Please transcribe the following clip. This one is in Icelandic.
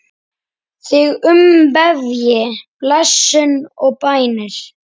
Þig umvefji blessun og bænir.